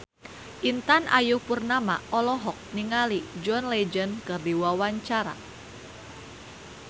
Intan Ayu Purnama olohok ningali John Legend keur diwawancara